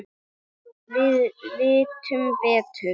Við vitum betur